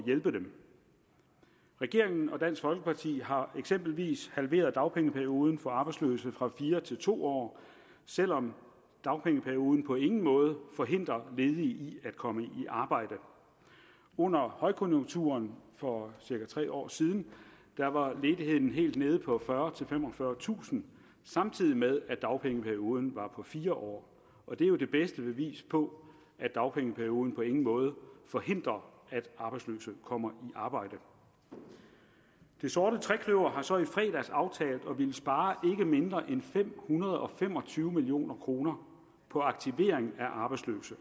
hjælpe dem regeringen og dansk folkeparti har eksempelvis halveret dagpengeperioden for arbejdsløse fra fire til to år selv om dagpengeperioden på ingen måde forhindrer ledige i at komme i arbejde under højkonjunkturen for cirka tre år siden var ledigheden helt nede på fyrretusind femogfyrretusind samtidig med at dagpengeperioden var på fire år og det er jo det bedste bevis på at dagpengeperioden på ingen måde forhindrer at arbejdsløse kommer i arbejde det sorte trekløver har så i fredags aftalt at ville spare mindre end fem hundrede og fem og tyve million kroner på aktivering af arbejdsløse